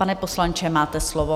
Pane poslanče, máte slovo.